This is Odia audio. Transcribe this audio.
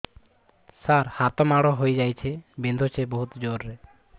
ସାର ହାତ ମାଡ଼ ହେଇଯାଇଛି ବିନ୍ଧୁଛି ବହୁତ ଜୋରରେ